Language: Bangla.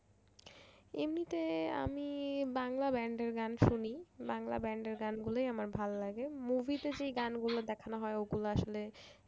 এমনিতে আমি বাংলা band এর গান শুনি বাংলা band এর গান গুলাই আমার ভালো লাগে movie তে যে গানগুলো দেখানো হয় ওগুলো আসলে